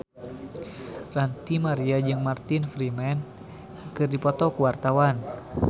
Ranty Maria jeung Martin Freeman keur dipoto ku wartawan